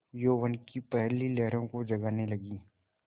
यौवन की पहली लहरों को जगाने लगी